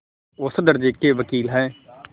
औसत दर्ज़े के वक़ील हैं